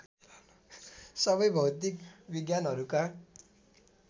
सबै भौतिक विज्ञानहरूका